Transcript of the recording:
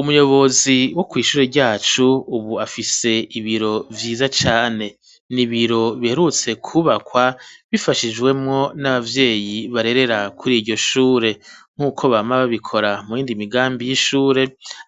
Umuyobozi wo kw'iishure ryacu ubu afise ibiro vyiza cane nibiro biherutse kubakwa bifashijwemo n'abavyeyi barerera kuri iryo shure nk'uko bama babikora mu yindi migambi y'ishure